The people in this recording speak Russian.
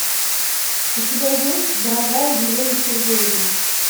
у тебя есть дорогая елена сергеевна